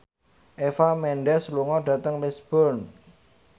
Eva Mendes lunga dhateng Lisburn